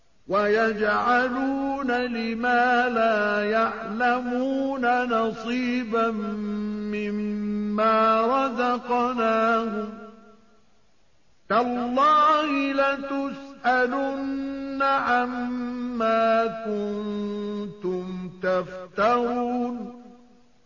وَيَجْعَلُونَ لِمَا لَا يَعْلَمُونَ نَصِيبًا مِّمَّا رَزَقْنَاهُمْ ۗ تَاللَّهِ لَتُسْأَلُنَّ عَمَّا كُنتُمْ تَفْتَرُونَ